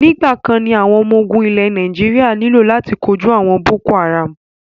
Nígbàkan ní àwọn ọmọ ológun ilẹ̀ Nàíjírà nílò láti kóju àwọn boko haram.